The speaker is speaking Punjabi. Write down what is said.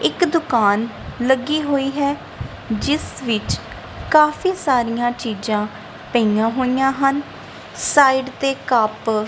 ਇੱਕ ਦੁਕਾਨ ਲੱਗੀ ਹੋਈ ਹੈ ਜਿਸ ਵਿੱਚ ਕਾਫੀ ਸਾਰੀਆਂ ਚੀਜਾਂ ਪਈਆਂ ਹੋਈਆਂ ਹਨ ਸਾਈਡ ਤੇ ਕੱਪ --